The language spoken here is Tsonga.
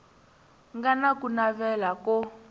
nga na ku navela ko